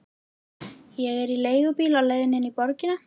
Ég er í leigubíl á leiðinni inn í borgina.